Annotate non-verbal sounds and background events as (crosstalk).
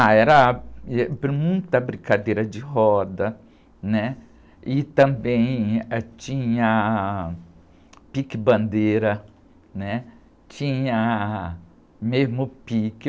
Ah, era, (unintelligible) muita brincadeira de roda, né? E também, ãh, tinha pique-bandeira, né? Tinha mesmo o pique.